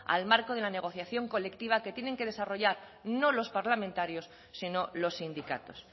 al marco de la negociación colectiva que tiene que desarrollar no los parlamentarios sino los sindicatos